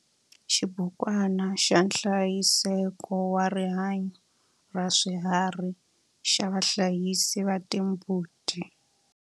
Xibukwana xa nhlayiseko wa rihanyo ra swiharhi xa vahlayisi va timbuti.